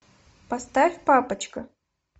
поставь папочка